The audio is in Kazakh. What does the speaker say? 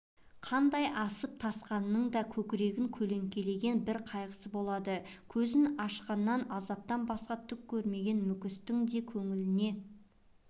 қандай асып-тасқанның да көкірегін көлеңкелеген бір қайғысы болады көзін ашқаннан азаптан басқа түк көрмеген мүскіннің де көңіліне